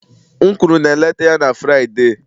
M kwuru na-eleta ya na Fraịde